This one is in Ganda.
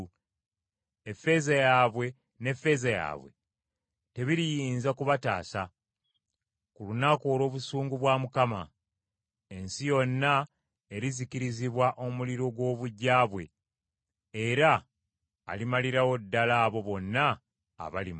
Effeeza yaabwe ne zaabu yaabwe tebiriyinza kubataasa ku lunaku olw’obusungu bwa Mukama . Ensi yonna erizikirizibwa omuliro gw’obuggya bwe, era alimalirawo ddala abo bonna abali mu nsi.